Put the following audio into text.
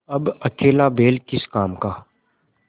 अब अकेला बैल किस काम का